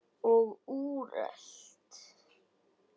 Og úrelt.